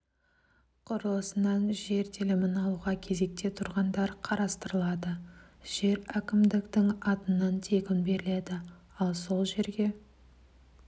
құрылысынан жер телімін алуға кезекте тұрғандар қарастырылады жер әкімдіктің атынан тегін беріледі ал сол жерге